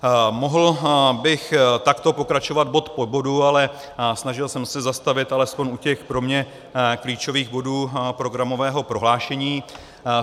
Mohl bych takto pokračovat bod po bodu, ale snažil jsem se zastavit alespoň u těch pro mě klíčových bodů programového prohlášení.